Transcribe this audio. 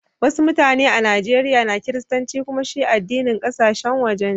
Wassu mutane a Nijeriya na kiristanci kumma shi addinin kasashen waje ne.